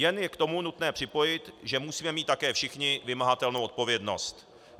Jen je k tomu nutné připojit, že musíme mít také všichni vymahatelnou odpovědnost.